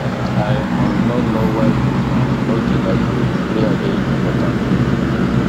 i um no know why you um no dey like pray prayer dey important oo